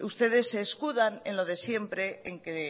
ustedes se escudan en lo de siempre en que